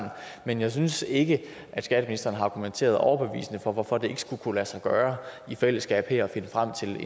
men jeg synes ikke at skatteministeren har argumenteret overbevisende for hvorfor det ikke skulle kunne lade sig gøre i fællesskab her at finde frem til